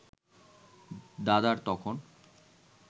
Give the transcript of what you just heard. দাদার তখন